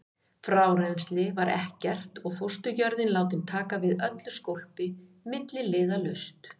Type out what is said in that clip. Frárennsli var ekkert og fósturjörðin látin taka við öllu skólpi milliliðalaust.